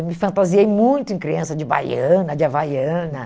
Eu me fantasiei muito em criança de baiana, de havaiana.